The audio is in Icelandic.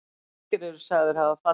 Margir eru sagðir hafa fallið.